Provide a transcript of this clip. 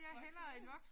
Voksen